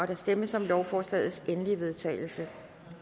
der stemmes om lovforslagets endelige vedtagelse